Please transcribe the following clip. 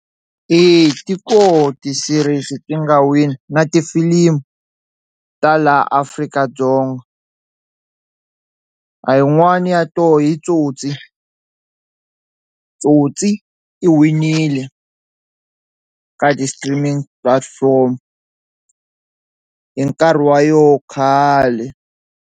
Eya ti koho tiserisi leti nga wini na tifilimu ta laha Afrika-Dzonga, a yin'wani ya tona yi Tsotsi, Tsotsi i winile ka ti-streaming platforms hi nkarhi wa yo khale.